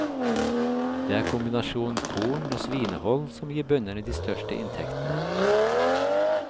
Det er kombinasjonen korn og svinehold som gir bøndene de største inntektene.